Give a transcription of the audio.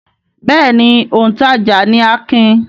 Bẹ́ẹ̀ ni, òǹtajà ni Akin.